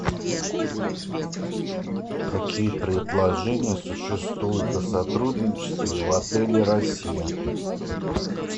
какие предложения существуют о сотрудничестве в отеле россия